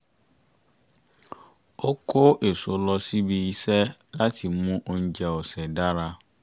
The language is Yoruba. ó kó èso lọ síbi iṣẹ́ láti mú oúnjẹ ọ̀sẹ̀ dára